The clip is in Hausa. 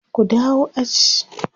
ku dawo aji!